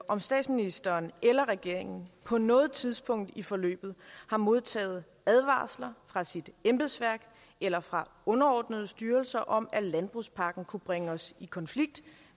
om statsministeren eller regeringen på noget tidspunkt i forløbet har modtaget advarsler fra sit embedsværk eller fra underordnede styrelser om at landbrugspakken kunne bringe os i konflikt